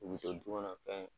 I bɛ to dukɔnɔ fɛn